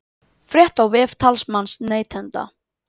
Frétt á vef talsmanns neytenda